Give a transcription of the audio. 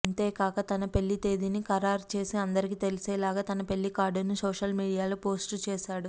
అంతేకాక తన పెళ్లి తేదీని ఖరారు చేసి అందరికి తెలిసేలాగా తన పెళ్లి కార్డునూ సోషల్ మీడియాలో పోస్టు చేశాడు